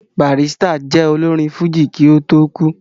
Barrister jẹ́ olórin fújì kí ó tó kú